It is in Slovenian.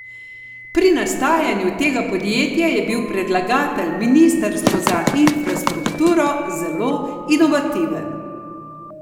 Pri nastajanju tega podjetja je bil predlagatelj, ministrstvo za infrastrukturo, zelo inovativen.